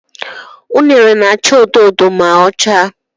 Unere na-acha odo odo ma ọ chaa.